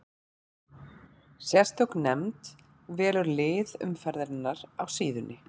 Sérstök nefnd velur lið umferðarinnar á síðunni.